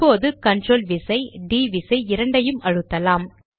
இப்போது கண்ட்ரோல் விசை டிD விசை இரண்டையும் அழுத்தலாம்